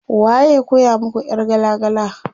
Waye ya koya muku ƴar gala gala?